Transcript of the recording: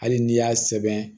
Hali n'i y'a sɛbɛn